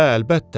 Hə, əlbəttə.